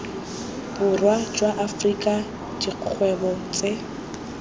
borwa jwa afrika dikgwebo tse